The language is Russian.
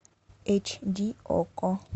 эйч ди окко